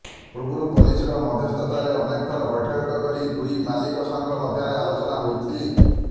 ପୂର୍ବରୁ ପୋଲିସର ମଧ୍ୟସ୍ଥତାରେ ଅନେକ ଥର ବୈଠକ କରି ଦୁଇ ମାଲିକ ସଂଘ ମଧ୍ୟରେ ଆଲୋଚନା ହୋଇଛି